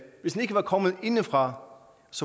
ikke var kommet indefra